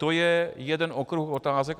To je jeden okruh otázek.